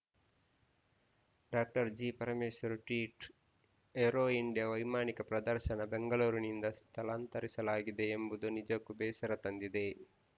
ಡಾಕ್ಟರ್ಜಿಪರಮೇಶ್ವರ್‌ tweet aero India ವೈಮಾನಿಕ ಪ್ರದರ್ಶನ ಬೆಂಗಳೂರಿನಿಂದ ಸ್ಥಳಾಂತರಿಸಲಾಗಿದೆ ಎಂಬುದು ನಿಜಕ್ಕೂ ಬೇಸರ ತಂದಿದೆ